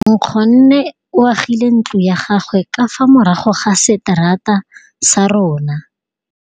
Nkgonne o agile ntlo ya gagwe ka fa morago ga seterata sa rona.